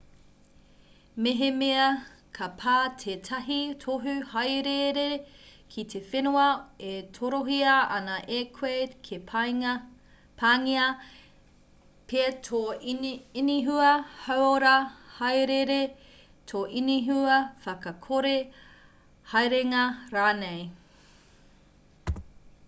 mehemea ka pā tētahi tohu hāereere ki te whenua e torohia ana e koe ka pāngia pea tō inihua hauora hāereere tō inihua whakakore haerenga rānei